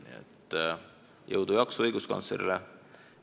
Nii et jõudu ja jaksu õiguskantslerile!